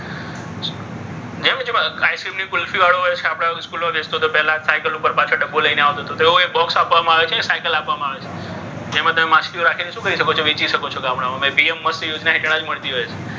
જે આઈસ્ક્રીમ ની કુલ્ફી વાળો હોય છે. આપણે વેચતો તો જે પહેલા સાયકલ ઉપર પાછળ ડબ્બો લઈને આવતો હતો. તેવું એક બોક્સ આપવામાં આવે છે. સાયકલ આપવામાં આવે છે. જેમાં તમે માછલીઓ રાખીને શું કરી શકો છો? વેચી શકો છો ગામડાઓમાં. એ પીએમ મત્સ્ય યોજના હેઠળ જ મળતી હોય છે.